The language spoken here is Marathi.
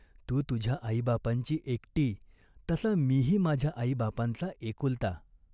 तू तुझ्या आईबापांची एकटी, तसा मीही माझ्या आईबापांचा एकुलता.